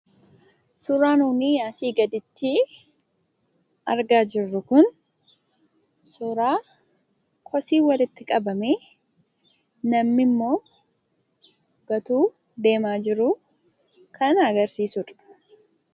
Suuraan nuuni asii gaditti argaa jirru kun suuraa kosii walitti qabamee, namni ammoo gatuu osoo deemaa jiruu kan agarsiisudha.